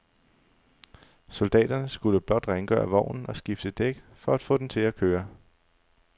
Soldaterne skulle blot rengøre vognen og skifte et dæk for at få den til at køre.